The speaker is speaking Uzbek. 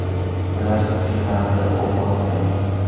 ular sizga qarata o‘q otmaydi!.